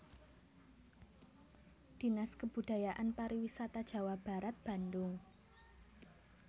Dinas Kebudayaan Pariwisata Jawa Barat Bandung